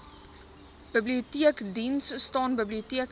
biblioteekdiens staan biblioteke